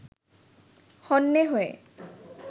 হন্যে হয়ে